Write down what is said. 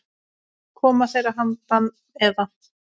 Koma þeir að handan, eða?